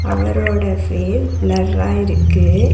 அவரோட பே பிளர்ரா இருக்கு.